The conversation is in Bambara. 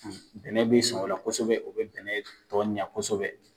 bɛnɛ bi sɔn o la kosɛbɛ o bi bɛnɛ tɔ ɲɛ kosɛbɛ